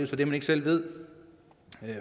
så det man ikke selv ved